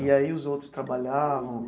E aí os outros trabalhavam?